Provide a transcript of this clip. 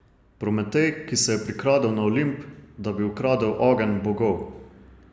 Prometej, ki se je prikradel na Olimp, da bi ukradel ogenj bogov.